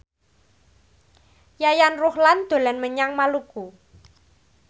Yayan Ruhlan dolan menyang Maluku